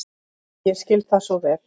Og ég skil það svo vel.